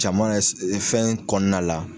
Caman ye fɛn kɔnɔna la.